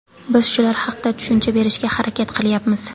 Biz shular haqda tushuncha berishga harakat qilyapmiz.